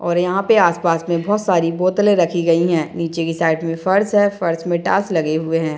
और यहाँ पे आसपास में बहुत सारी बोतले रखी गयी है नीचे की साइड में फर्श है फर्श में टाइल्स लगे हुए है।